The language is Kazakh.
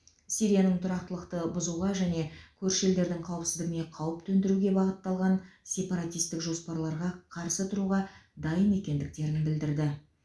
сирияның тұрақтылықты бұзуға және көрші елдердің қауіпсіздігіне қауіп төндіруге бағытталған сепаратистік жоспарларға қарсы тұруға дайын екендіктерін білдірді